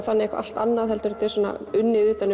eitthvað allt annað þetta er svona unnið utan